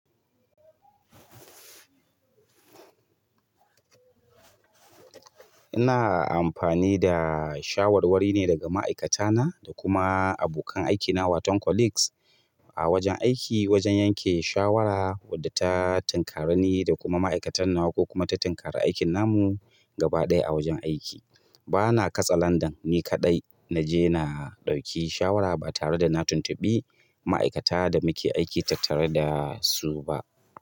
Ina amfani da shawarwari ne daga ma'aikatana da kuma abokan aiki na wato colleagues a wajen aiki wajen yanke shawara wadda ta tinkarani da kuma ma'aikatan nawa ko kuma ta tinkari aikin namu gaba ɗaya a wajen aiki. Bana katse landan ni kaɗai na je na ɗauki shawara ba tare da na tuntuɓi ma'aikata da muke aiki tattare da su ba.